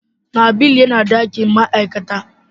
nabil yana dakin ma'aikata.